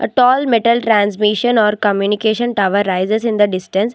A tall metal transmission or communication tower rises in the distance.